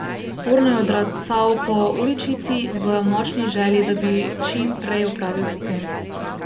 Urno je odracal po uličici v močni želji, da bi čim prej opravil s tem.